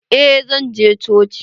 Eh zan je cocin.